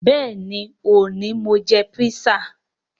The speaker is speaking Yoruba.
Bẹẹni, ni òní Mo jẹ písà